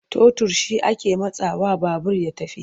Totur shi ake matsawa babur ya tafi.